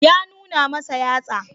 Ya nuna masa yatsa.